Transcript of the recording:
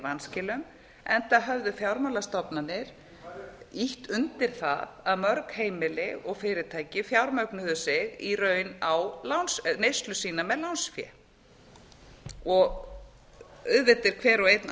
vanskilum enda höfðu fjármálastofnanir ýtt undir það að mörg heimili og fyrirtæki fjármögnuðu í raun neyslu sína með lánsfé auðvitað er hver og einn